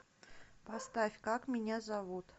поставь как меня зовут